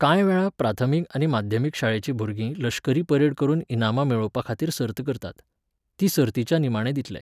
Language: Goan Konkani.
कांय वेळा प्राथमीक आनी माध्यमीक शाळेचीं भुरगीं लश्करी परेड करून इनामां मेळोवपा खातीर सर्त करतात. तीं सर्तीच्या निमाणें दितले.